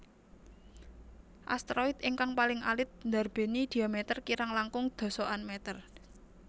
Asteroid ingkang paling alit ndarbéni dhiameter kirang langkung dasaan meter